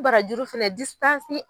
Barajuru fana